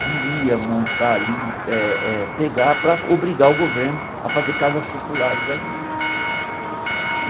queria montar ali, eh eh pegar para obrigar o governo a fazer casas populares ali né.